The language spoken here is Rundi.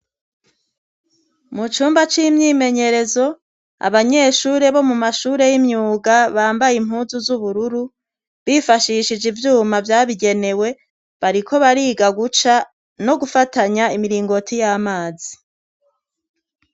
mu cumba c'imyimenyerezo abanyeshure bo mu mashure y'imyuga bambaye impunzu z'ubururu, bifashishije ivyuma Vyabigenewe bariko bariga guca no gufatanya imiringoti y'amazi.